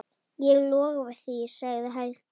Ég lofa því, sagði Helga.